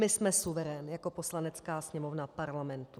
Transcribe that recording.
My jsme suverén jako Poslanecká sněmovna Parlamentu.